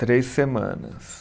Três semanas.